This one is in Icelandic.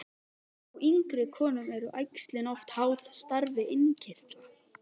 Hjá yngri konum eru æxlin oft háð starfi innkirtla.